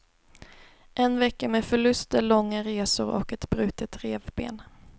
En vecka med förluster, långa resor och ett brutet revben.